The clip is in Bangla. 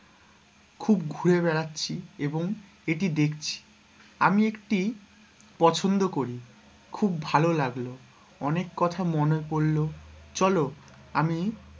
খুব ঘুরে বেরাচ্ছি এবং এটি দেখছি আমি একটি পছন্দ করি খুব ভালো লাগলো অনেক কথা মনে পড়লো চলো আমি,